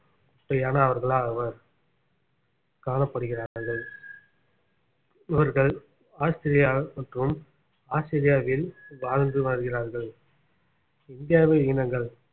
குட்டையானவர்களாவர் காணப்படுகிறார்கள் இவர்கள் ஆஸ்திரேலியா மற்றும் ஆஸ்திரியாவில் வாழ்ந்து வாழ்கிறார்கள் இந்தியாவில் இனங்கள்